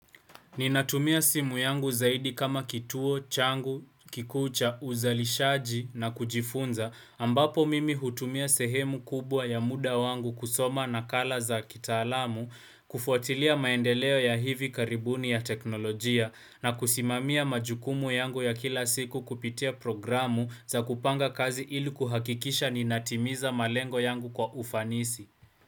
Ninatumia simu yangu zaidi kama kituo, changu, kikuu cha, uzalishaji na kujifunza, ambapo mimi hutumia sehemu kubwa ya muda wangu kusoma nakala za kitaalamu, kufuatilia maendeleo ya hivi karibuni ya teknolojia, na kusimamia majukumu yangu ya kila siku kupitia programu za kupanga kazi ili kuhakikisha ninatimiza malengo yangu kwa ufanisi.